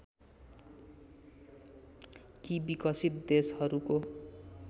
कि विकसित देशहरूको